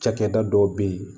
Cakɛda dɔw bɛ yen